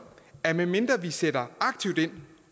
at medmindre vi sætter aktivt ind